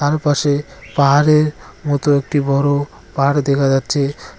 ওপাশে পাহাড়ের মতো একটি বড় পাড় দেখা যাচ্ছে।